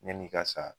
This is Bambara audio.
Yan'i ka sa